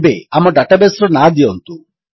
ଏବେ ଆମ ଡାଟାବେସ୍ ର ନାଁ ଦିଅନ୍ତୁ